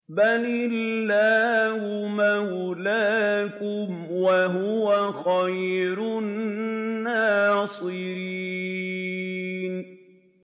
بَلِ اللَّهُ مَوْلَاكُمْ ۖ وَهُوَ خَيْرُ النَّاصِرِينَ